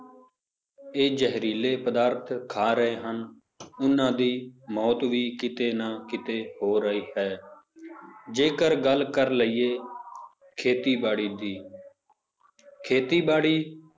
ਇਹ ਜ਼ਹਿਰੀਲੇ ਪਦਾਰਥ ਖਾ ਰਹੇ ਹਨ ਉਹਨਾਂ ਦੀ ਮੌਤ ਵੀ ਕਿਤੇ ਨਾ ਕਿਤੇ ਹੋ ਰਹੀ ਹੈ ਜੇਕਰ ਗੱਲ ਕਰ ਲਈਏ ਖੇਤੀਬਾੜੀ ਦੀ ਖੇਤੀਬਾੜੀ